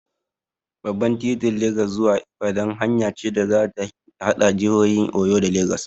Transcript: Babban titin Legas zuwa Ibadan hanya ce da ta haɗa jihohin Oyo da Legas.